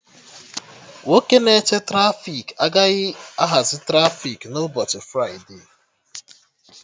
Nwoke na-eche trafiki agaghị ahazi trafiki na ụbọchị fride